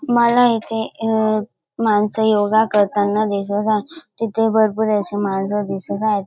मला इथे अ माणस योगा करताना दिसत आहे. तिथे भरपूर अशी माणस दिसत आहेत.